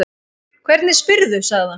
Hvernig spyrðu, sagði hann.